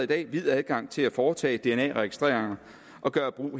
dag vid adgang til at foretage dna registreringer og gøre brug